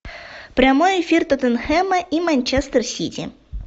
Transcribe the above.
прямой эфир тоттенхэма и манчестер сити